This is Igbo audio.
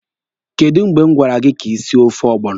Kedụ mgbe m gwara gị ka ị sie ofe ọgbọnọ?